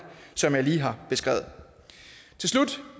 som jeg lige har beskrevet til slut